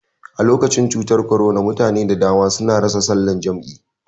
Alokacin cutar korona mutane da dama sun rasa salan jam'i